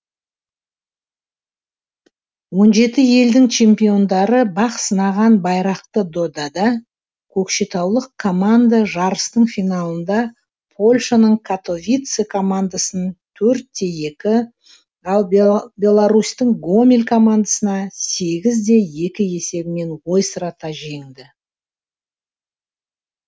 он жеті елдің чемпиондары бақ сынаған байрақты додада көкшетаулық команда жарыстың финалында польшаның катовице командасын төртте екі ал беларусьтің гомель командасын сегізде екі есебімен ойсырата жеңді